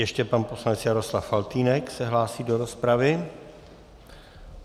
Ještě pan poslanec Jaroslav Faltýnek se hlásí do rozpravy.